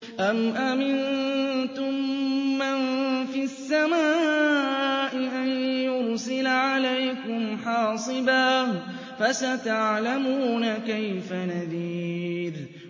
أَمْ أَمِنتُم مَّن فِي السَّمَاءِ أَن يُرْسِلَ عَلَيْكُمْ حَاصِبًا ۖ فَسَتَعْلَمُونَ كَيْفَ نَذِيرِ